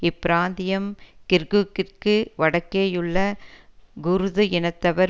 இப்பிராந்தியம் கிர்குக்கிற்கு வடக்கேயுள்ள குர்து இனத்தவர்